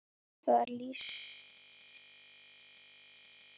Það lýsir því best hve tæpur ég er.